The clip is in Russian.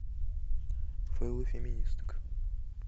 фейлы феминисток